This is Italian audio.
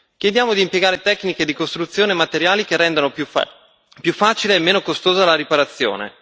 Chiediamo di impiegare tecniche di costruzione e materiali che rendano più facile e meno costosa la riparazione.